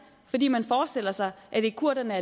fordi man forestiller sig at det er kurderne